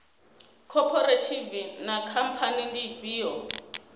khophorethivi na khamphani ndi ifhio